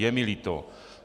Je mi líto.